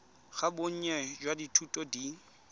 ga bonnye jwa dithuto di